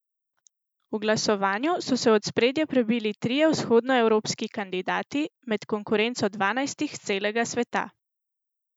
V glasovanju so se v ospredje prebili trije vzhodnoevropski kandidati med konkurenco dvanajstih s celega sveta.